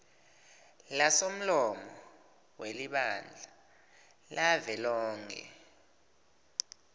lasomlomo welibandla lavelonkhe